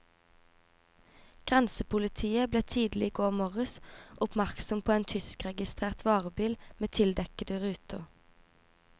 Grensepolitiet ble tidlig i går morges oppmerksom på en tyskregistrert varebil med tildekkede ruter.